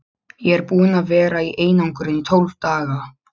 Ég er búinn að vera í einangrun í tólf daga.